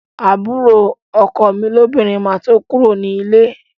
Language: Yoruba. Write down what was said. Àbúrò ọkọ mi lóbìnrin máa tó kúrò ní líle